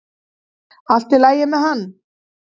Allt í lagi með hann!